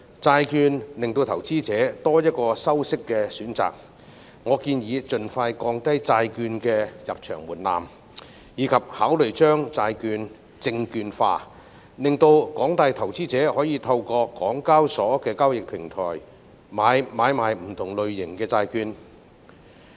債券為投資者提供多一個收息選擇，我建議盡快降低債券的入場門檻及考慮將債券證券化，令廣大投資者可以透過港交所的交易平台買賣不同類型的債券。